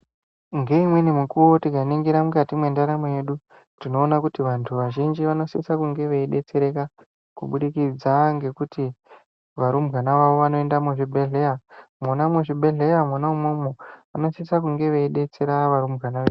Ngeimweni mukuvo tikaringira mukati mwendaramo yedu tinoona kuti vantu vazhinji vanodsisa kunge veibetsereka kubudikidza ngekuti varumbwana vavo vanoenda muzvibhedhlera. Mwona muzvibhedhlera mwona imwomwo munosisa kunge veibetsera varumbwana vedu.